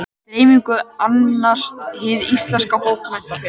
Dreifingu annast Hið íslenska bókmenntafélag.